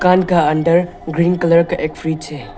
दुकान का अंदर ग्रीन कलर का एक फ्रिज है।